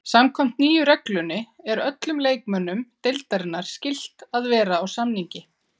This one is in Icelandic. Samkvæmt nýju reglunni er öllum leikmönnum deildarinnar skylt að vera á samningi.